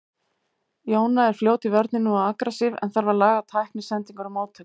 Jóna er fljót í vörninni og agressív en þarf að laga tækni, sendingar og móttöku.